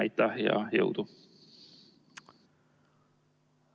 Aitäh ja jõudu!